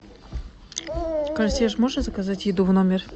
консьерж можно заказать еду в номер